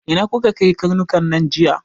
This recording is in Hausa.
Ina kuka kai karnukan nan jiya!